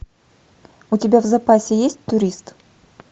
у тебя в запасе есть турист